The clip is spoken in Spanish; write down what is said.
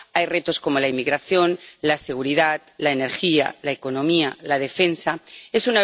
Hay retos como la inmigración, la seguridad, la energía, la economía, la defensa... Es